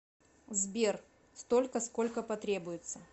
сбер столько сколько потребуется